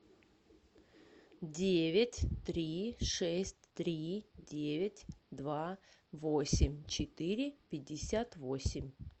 девять три шесть три девять два восемь четыре пятьдесят восемь